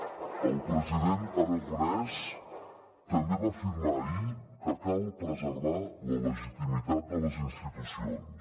el president aragonès també va afirmar ahir que cal preservar la legitimitat de les institucions